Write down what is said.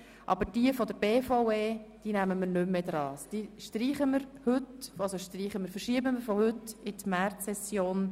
Aber die Motionen der BVE behandeln wir sicher nicht mehr, sondern wir verschieben sie von heute in die Märzsession.